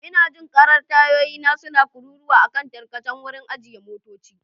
Ina jin karar tayoyina suna kururuwa a kan tarkacen wurin ajiye motoci.